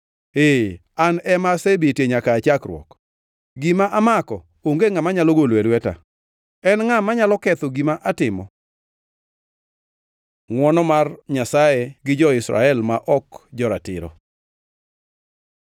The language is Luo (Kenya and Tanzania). Ee An ema asebetie nyaka aa chakruok. Gima amako onge ngʼama nyalo golo e lweta. En ngʼa manyalo ketho gima atimo? Ngʼwono mar Nyasaye gi jo-Israel ma ok joratiro